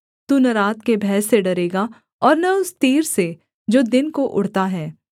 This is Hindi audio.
तू न रात के भय से डरेगा और न उस तीर से जो दिन को उड़ता है